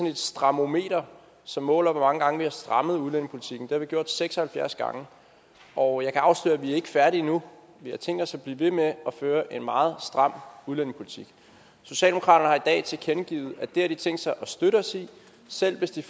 et strammometer som måler hvor mange gange vi har strammet udlændingepolitikken det har vi gjort seks og halvfjerds gange og jeg kan afsløre at vi ikke er færdige endnu vi har tænkt os at blive ved med at føre en meget stram udlændingepolitik socialdemokraterne i tilkendegivet at det har de tænkt sig at støtte os i selv hvis de